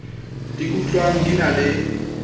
di utlwang di na le